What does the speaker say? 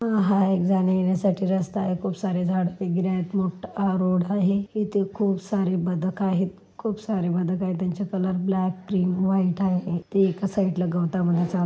अ हा एक जाण्या-येण्यासाठी रस्ता आहे खूप सारे झाडे वैगरे आहे मोठा रोड आहे इथे खूप सारे बदक आहे खूप सारे बदक आहे त्यांचे कलर ब्लॅक क्रीम व्हाईट आहे ते एका साईडला गवतामध्ये चाल --